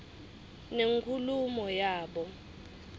nenkulumo yabo